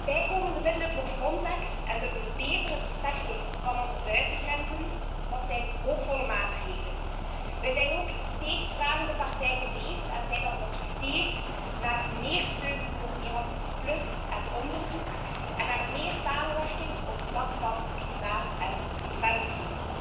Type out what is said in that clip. Bijkomende middelen voor Frontex en dus een betere versterking van onze buitengrenzen, dat zijn hoopvolle maatregelen. Wij zijn ook steeds vragende partij geweest en zijn dat nog steeds naar meer steun voor Erasmus en onderzoek, en naar meer samenwerking op vlak van klimaat en defensie.